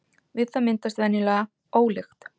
Við það myndast venjulega ólykt.